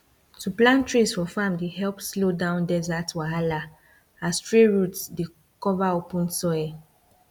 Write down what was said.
to plant trees for farm dey help slow down desert wahala as tree root dey cover open soil